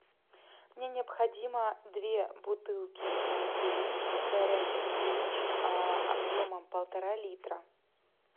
мне необходимо две бутылки воды горячий ключ объемом полтора литра